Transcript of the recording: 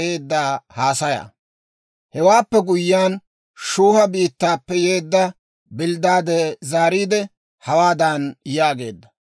Hewaappe guyyiyaan, Shuuha biittaappe yeedda Bilddaade zaariide, hawaadan yaageedda;